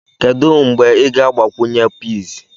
Kedu mgbe ị ga-agbakwunye peas?